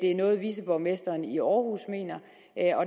er noget viceborgmesteren i aarhus mener